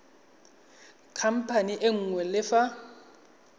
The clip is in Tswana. khamphane e nngwe le fa